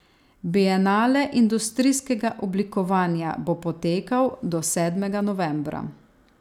Bienale industrijskega oblikovanja bo potekal do sedmega novembra.